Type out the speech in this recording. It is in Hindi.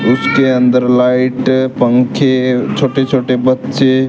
इसके अंदर लाइट पंखे छोटे छोटे बच्चे--